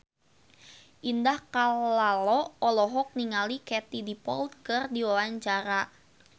Indah Kalalo olohok ningali Katie Dippold keur diwawancara